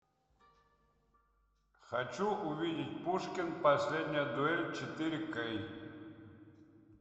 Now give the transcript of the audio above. хочу увидеть пушкин последняя дуэль четыре кей